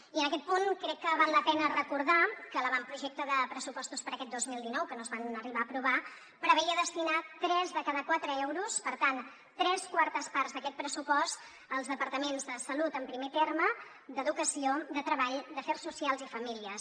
i en aquest punt crec que val la pena recordar que l’avantprojecte de pressupostos per a aquest dos mil dinou que no es van arribar a aprovar preveia destinar tres de cada quatre euros per tant tres quartes parts d’aquest pressupost als departaments de salut en primer terme d’educació de treball d’afers socials i famílies